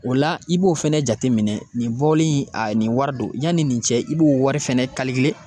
O la i b'o fɛnɛ jateminɛ nin bɔli in a nin wari don yani nin cɛ i b'o wari fɛnɛ